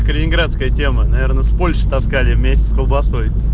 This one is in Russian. калининградская тема наверное с польши таскали вместе с колбасой